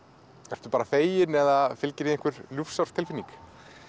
ertu þá bara fegin eða fylgir því ljúfsár tilfinning